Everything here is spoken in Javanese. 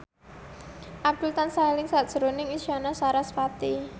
Abdul tansah eling sakjroning Isyana Sarasvati